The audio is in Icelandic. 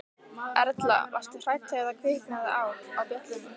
Erla: Varstu hrædd þegar það kviknaði á, á bjöllunni?